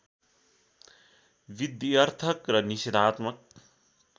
विध्यर्थक र निषेधात्मक